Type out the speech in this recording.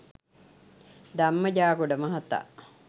ධම්ම ජාගොඩ මහතා